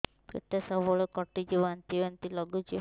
ପେଟ ସବୁବେଳେ କାଟୁଚି ବାନ୍ତି ବାନ୍ତି ବି ଲାଗୁଛି